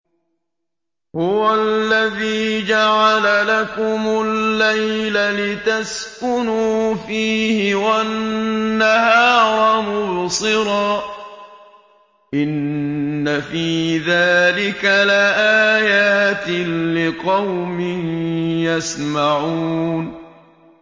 هُوَ الَّذِي جَعَلَ لَكُمُ اللَّيْلَ لِتَسْكُنُوا فِيهِ وَالنَّهَارَ مُبْصِرًا ۚ إِنَّ فِي ذَٰلِكَ لَآيَاتٍ لِّقَوْمٍ يَسْمَعُونَ